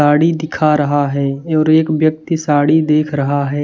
साड़ी दिखा रहा है और एक व्यक्ति साड़ी देख रहा है।